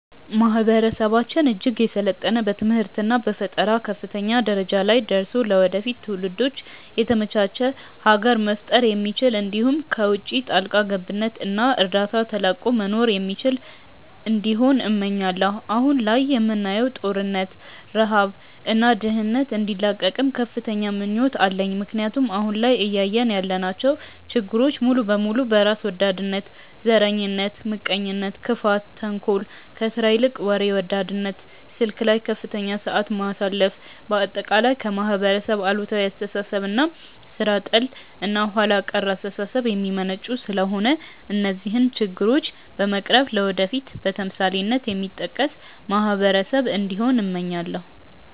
ማህበረሰባችን እጅግ የሰለጠነ በትምህርት እና በፈጠራ ከፍተኛ ደረጃ ላይ ደርሶ ለወደፊት ትውልዶች የተመቻች ሀገር መፍጠር የሚችል እንዲሁም ከውቺ ጣልቃ ገብነት እና እርዳታ ተላቆ መኖር የሚችል እንዲሆን እመኛለው። አሁን ላይ የምናየውን ጦርነት፣ ረሃብ እና ድህነት እንዲላቀቅም ከፍተኛ ምኞት አለኝ ምክንያቱም አሁን ላይ እያየን ያለናቸው ችግሮች ሙሉ በሙሉ በራስ ወዳድነት፣ ዘረኝነት፣ ምቀኝነት፣ ክፋት፣ ተንኮል፣ ከስራ ይልቅ ወሬ ወዳድነት፣ ስልክ ላይ ከፍተኛ ሰዓት ማሳለፍ፣ በአጠቃላይ ከማህበረሰብ አሉታዊ አስተሳሰብ እና ሥራ ጠል እና ኋላ ቀር አስተሳሰብ የሚመነጩ ስለሆነ እነዚህን ችግሮች በመቅረፍ ለወደፊት በተምሳሌትነት የሚጠቀስ ማህበረሰብ እንዲሆን እመኛለው።